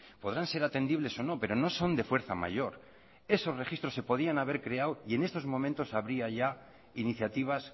podrán ser atendibles o no pero no son de fuerza mayor esos registros se podían haber creado y en estos momentos habría ya iniciativas